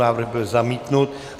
Návrh byl zamítnut.